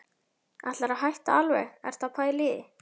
Ætlarðu að hætta alveg. ertu að pæla í því?